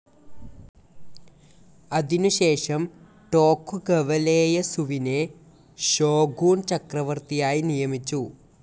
അതിനുശേഷം ടോകുഗവ ലേയസുവിനെ ഷോഗുൻ ചക്രവർത്തിയായി നിയമിച്ചു.